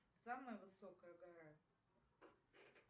самая высокая гора